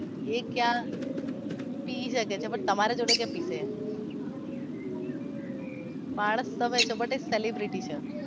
એ ક્યાં પી શકે છે પણ તમારી જોડે કેમ પીસે માણસ તમે છો but એ સેલેબ્રીટી છે